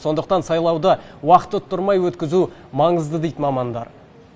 сондықтан сайлауды уақыт ұттырмай өткізу маңызды дейді мамандар